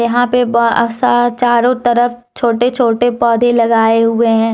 यहां पे बहत सा चारों तरफ छोटे छोटे पौधे लगाए हुए हैं